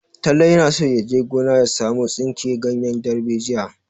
Talle yana so ya je gona ya samo tsinki ganyen darbejiya.